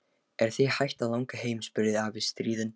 Er þig hætt að langa heim? spurði afi stríðinn.